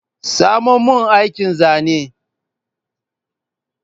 Samo mani aikin zanen